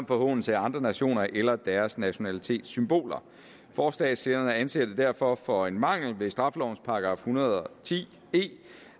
forhånelse af andre nationer eller deres nationalitetssymboler forslagsstillerne anser det derfor for at være en mangel ved straffelovens § en hundrede og ti e